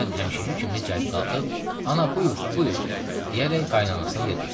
Əhməd həmişəki kimi cəld qalxıb "Ana, buyur, buyur," deyərək qaynananasına yer göstərdi.